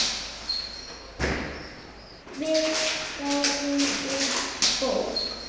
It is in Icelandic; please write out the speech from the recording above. Við gáfum út bók.